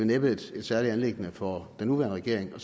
næppe et særligt anliggende for den nuværende regering